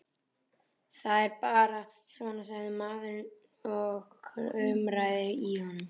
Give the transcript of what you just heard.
Það er bara svona, sagði maðurinn og kumraði í honum.